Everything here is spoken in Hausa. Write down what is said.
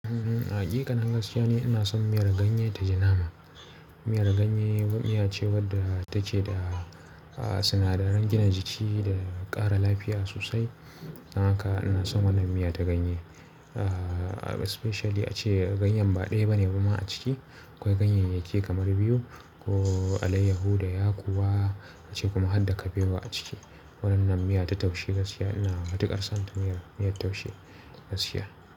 Uhm, hakika na gaskiya ni ina son miyar ganye ta ji nama. Miyar ganye wani miya ce wadda take da, ah, sinadaran gina jiki da ƙara lafiya sosai. Haka ina son wannan miya ta ganye. Ah, especially ace ganyen ba ɗaya bane kuma a ciki. Akwai ganye yake kamar biyu ko alaiyahu da yakuwa ace kuma har da kabewa a ciki. Wannan miya ta taushe gaskiya ina matuƙar son ta miya, miyar taushe gaskiya.